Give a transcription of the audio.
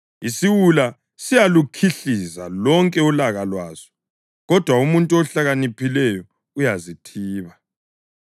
Isiwula siyalukhihliza lonke ulaka lwaso, kodwa umuntu ohlakaniphileyo uyazithiba.